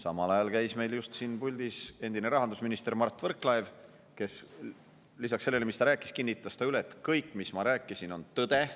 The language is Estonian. Meil käis just siin puldis endine rahandusminister Mart Võrklaev, kes lisaks sellele, mis ta rääkis, kinnitas üle, et kõik, mis ma rääkisin, on tõde.